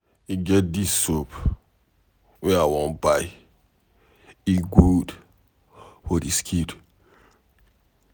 E get dis soap wey I wan buy, e good for the skin.